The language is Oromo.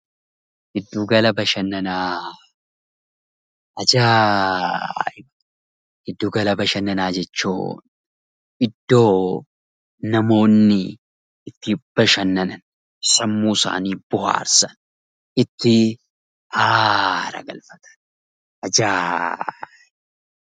Giddu gala bashannanaa Ajaaiba! Giddu gala bashannanaa giddu gala bashannanaa jechuun iddoo namoonni itti bashannanan , sammuu isaanii bohaarsan iddoo itti haara galfatan.